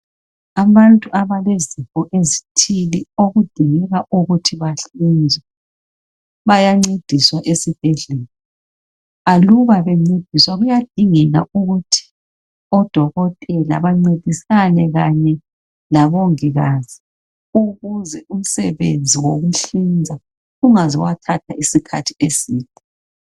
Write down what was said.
Abantu abalezifo ezithile okudingeka ukuthi bahlinzwe bayancediswa esibhedlela aluba bencediswa kuyadingeka ukuthi odokotela bancedisane kanye labongikazi ukuze umsebenzi wokuhlinza ungaze wathatha isikhathi eside